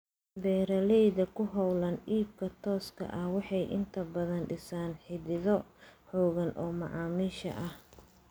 Beeralayda ku hawlan iibka tooska ah waxay inta badan dhisaan xidhiidho xoogan oo macaamiisha ah.